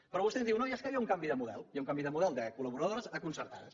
però vostè ens diu no és que hi ha un canvi de model hi ha un canvi de model de col·laboradores a concertades